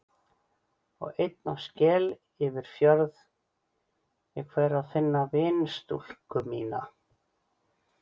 Og einn á skel yfir fjörð ég fer að finna vinstúlku mína.